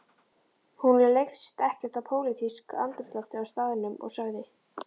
Honum leist ekkert á pólitískt andrúmsloft á staðnum og sagði